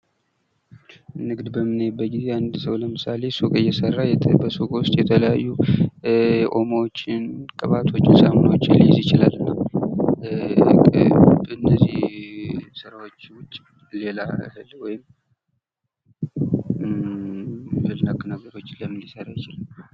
ንግድ በምናይበት ጊዜ አንድ ሰው ለምሳሌ ሱቅ እየሰራ በሱቁ ውስጥ የተለያዩ ኦሞዎችን ፣ቅባቶችን፣ ሳሙናዎችን ሊይዝ ይችላል። እና በእነዚህ ስራዎች ውጭ ሌላ ፈልጎ ወይም እህል ነክ ነገሮችን ለምን ሊሰራ ይችላል?